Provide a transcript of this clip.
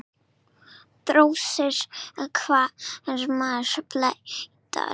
Drósir hvarma bleyta.